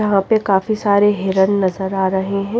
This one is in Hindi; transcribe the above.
यहां पे काफी सारे हिरन नजर आ रहे हैं।